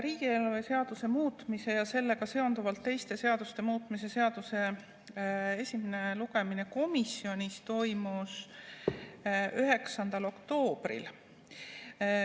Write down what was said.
Riigieelarve seaduse muutmise ja sellega seonduvalt teiste seaduste muutmise seaduse esimene lugemine komisjonis toimus 9. oktoobril.